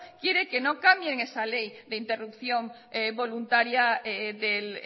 quiere que no cambien esa ley de interrupción voluntaria del